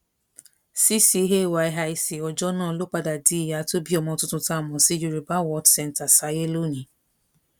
ccayic ọjọ náà ló padà di ìyá tó bí ọmọ tuntun tá a mọ sí yorùbá world centre sáyé lónìí